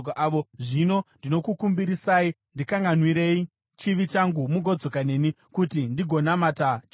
Zvino ndinokukumbirisai, ndikanganwirei chivi changu mugodzoka neni, kuti ndigononamata Jehovha.”